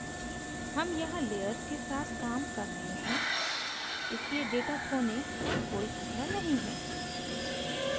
हम यहाँ layers के साथ काम कर रहे हैं इसलिए data खोने का कोई खतरा नहीं है